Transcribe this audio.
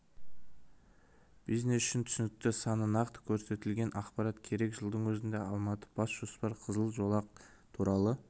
бизнес үшін түсінікті саны нақты көрсетілген ақпарат керек жылдың өзінде алматыда бас жоспар қызыл жолақ туралы